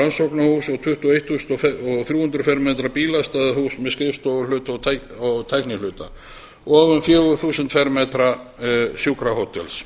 rannsóknarhúss um tuttugu og eitt þúsund og þrjú hundruð fermetra bílastæðahúss og um fjögur þúsund fermetra sjúkrahótels